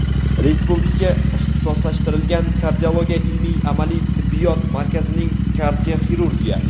Respublika ixtisoslashtirilgan kardiologiya ilmiy-amaliy tibbiyot markazining – kardioxirurgiya;.